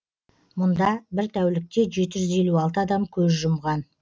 мұнда бір тәулікте жеті жүз елу алты адам көз жұмған